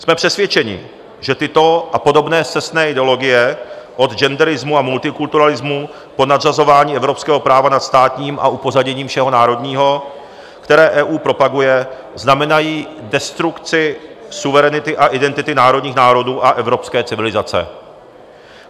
Jsme přesvědčeni, že tyto a podobné scestné ideologie, od genderismu a multikulturalismu po nadřazování evropského práva nad státní a upozaděním všeho národního, které EU propaguje, znamenají destrukci suverenity a identity národních národů a evropské civilizace.